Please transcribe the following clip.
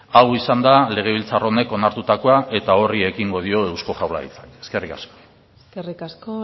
hau izan da legebiltzar honek onartutakoa eta horri ekingo dio eusko jaurlaritzak eskerrik asko eskerrik asko